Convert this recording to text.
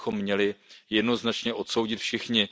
To bychom měli jednoznačně odsoudit všichni.